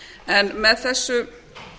en með þessu